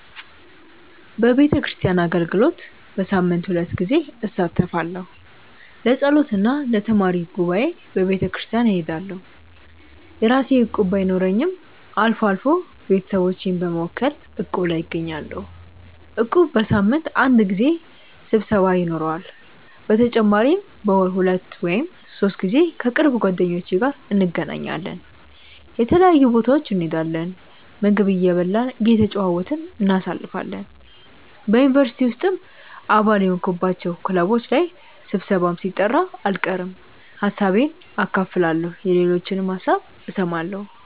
በቤተክርስቲያን አገልግሎት በሳምንት ሁለት ጊዜ እሳተፋለሁ። ለጸሎት እና ለተማሪ ጉባኤ በቤተክርስቲያን እሄዳለሁ። የራሴ እቁብ ባይኖረኝም አልፎ አልፎ ቤተሰቦቼን በመወከል እቁብ ላይ እገኛለሁ። እቁቡ በሳምንት አንድ ጊዜ ስብሰባ ይኖረዋል። በተጨማሪም በወር ሁለት ወይም ሶስት ጊዜ ከቅርብ ጓደኞቼ ጋር እንገናኛለን። የተለያዩ ቦታዎች እንሄዳለን፣ ምግብ እየበላን እየተጨዋወትን እናሳልፋለን። በ ዩኒቨርሲቲ ውስጥም አባል የሆንኩባቸው ክለቦች ላይ ስብሰባም ሲጠራ አልቀርም። ሀሳቤን አካፍላለሁ የሌሎችንም ሀሳብ እሰማለሁ።